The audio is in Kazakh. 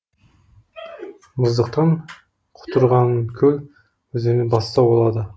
мұздықтан құтырғанкөл өзені бастау алады